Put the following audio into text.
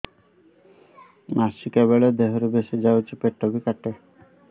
ମାସିକା ବେଳେ ଦିହରୁ ବେଶି ଯାଉଛି ପେଟ ବି କାଟେ